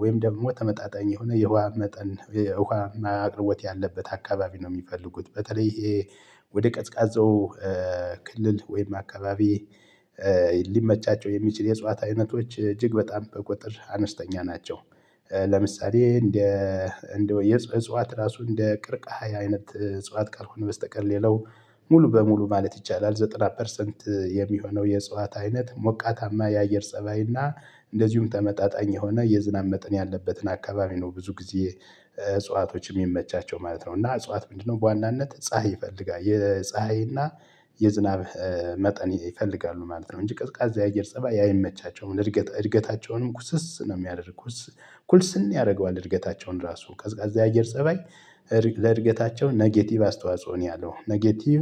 ወይም ደግሞ ተመጣጣኝ የሆነ የውሃ መጠን የውሃ አቅርቦት ያለበት አካባቢ ነው። የሚፈልጉት በተለይ ይሄ ወደ ቀዝቃዛው ክልል ወይም አካባቢ ሊመቻቸው የሚችል የእጽዋት አይነቶች እጅግ በጣም በቁጥር አነስተኛ ናቸው። ለምሳሌ እንደ እንደ የእጽዋት ራሱ እንደ ቅርቃሃይ አይነት እጽዋት ካልሆነ በስተቀር ሌላው ሙሉ በሙሉ ማለት ይቻላል። ዘጠና ፐርሰንት የሚሆነው የእጽዋት አይነት ሞቃታማ የአየር ፀባይና እንደዚሁም ተመጣጣኝ የሆነ የዝናብ መጠን ያለበትን አካባቢ ነው ብዙ ጊዜ እጽዋቶች የሚመቻቸው ማለት ነው። እና እጽዋት ምንድነው በዋናነት ፀሀይ ይፈልጋል የፀሀይ የፀሀይና የዝናብ መጠን ይፈልጋሉ ማለት ነው። እንጂ ቀዝቃዛ የአየር ፀባይ ያ የመቻቸውን እድገት እርገታቸውንም ኩስስ ነው የሚያደርጉት። ኩልስን ያደርገዋል እርገታቸውን ራሱ ቀዝቃዛ የአየር ፀባይ ለእድገታቸው ኔጌቲቭ አስተዋጽኦ ነው ያለው ኔጌቲቭ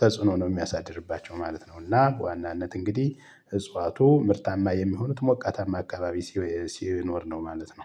ተጽዕኖ ነው የሚያሳድርባቸው ማለት ነው። እና ዋናነት እንግዲህ እጽዋቱ ምርታማ የሚሆኑት ሞቃታማ አካባቢ ሲኖር ነው ማለት ነው